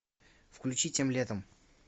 включи тем летом